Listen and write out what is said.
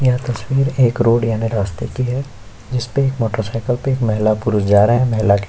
यह तस्वीर एक रोड याने रस्ते की है जिसपे मोटर सायकल पे महिला पुरुष जा रहे है महिला के --